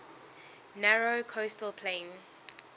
narrow coastal plain